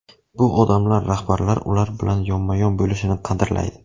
Bu odamlar rahbarlar ular bilan yonma-yon bo‘lishini qadrlaydi.